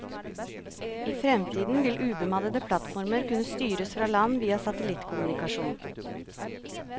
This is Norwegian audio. I fremtiden vil ubemannede plattformer kunne styres fra land via satellittkommunikasjon.